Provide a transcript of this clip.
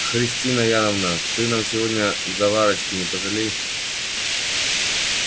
христина яновна ты нам сегодня заварочки не пожалей